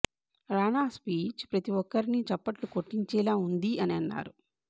రానా speech ప్రతీ ఒక్కరిని చప్పట్లు కొట్టించేలా ఉంది అని అన్నారు